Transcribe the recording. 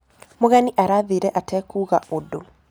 Mũgenĩ arathĩĩre atakũũga ũdũ.